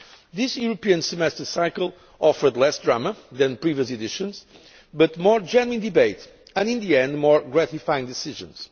This European Semester cycle offered less drama than previous editions but more genuine debate and, in the end, more gratifying decisions.